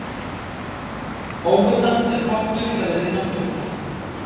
Óvissan er þáttur í eðli náttúrunnar.